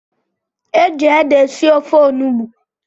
Eji ede esi ofe onugbu